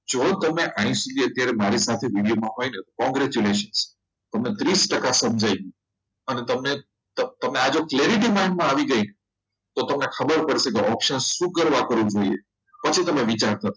જો તમે અહીં સુધી મારી સાથે આ video હોય ને તો congratulation તો તમને ત્રીસ ટકા સમજાઈ ગયું અને તમને અને જો આ clarity mind માં આવી ગઈ ને તો તમને ખબર પડશે option શું કરવા ખરીદવું જોઈએ પછી તમે વિચારજો